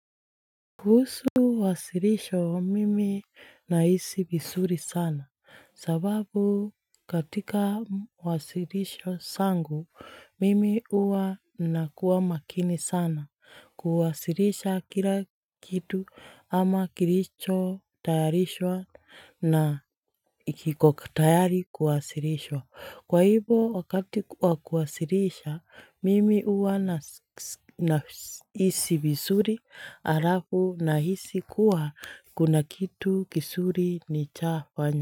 Kuhusu wasirisho mimi nahisi vizuri sana sababu katika wasirisho zangu mimi huwa nakuwa makini sana kuwasirisha kila kitu ama kilicho tayarishwa na kiko tayari kuwasirishwa, Kwa hivo wakati wa kuwasirisha mimi huwa na nahisi vizuri alafu nahisi kuwa kuna kitu kizuri nishafanya.